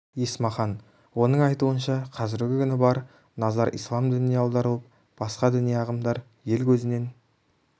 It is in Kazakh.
есмахан оның айтуынша қазіргі күні бар назар ислам дініне аударылып басқа діни ағымдар ел көзінен